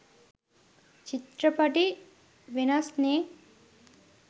චිත්‍රපටි වෙනස් නේ.